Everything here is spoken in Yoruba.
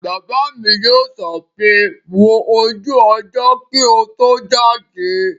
Bàbá mi yóò sọ pé 'wo ojú ọjọ́ kí o tó jáde'